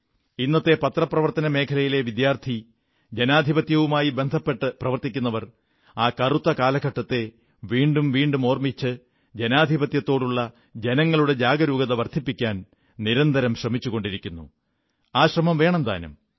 ഇന്നത്തെ പത്രപ്രവർത്തന മേഖലയിലെ വിദ്യാർഥികളും ജനാധിപത്യവുമായി ബന്ധപ്പെട്ടു പ്രവർത്തിക്കുന്നവരും ആ കറുത്ത കാലഘട്ടത്തെ വീണ്ടും വീണ്ടും ഓർമ്മിച്ച് ജനാധിപത്യത്തോടുള്ള ജനങ്ങളുടെ ജാഗരൂകത വർധിപ്പിക്കാൻ നിരന്തരം ശ്രമിച്ചുകൊണ്ടിരിക്കുന്നു ആ ശ്രമം വേണം താനും